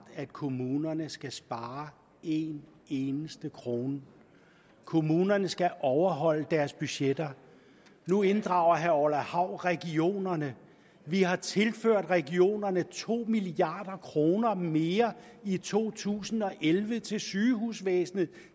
at kommunerne skal spare en eneste krone kommunerne skal overholde deres budgetter nu inddrager herre orla hav regionerne vi har tilført regionerne to milliard kroner mere i to tusind og elleve til sygehusvæsenet